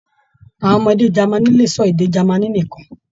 Àwọn ọmọdé Jámánì lè sọ èdè Jámánì nìkàn.